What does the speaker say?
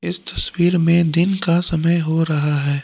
इस तस्वीर में दिन का समय हो रहा है।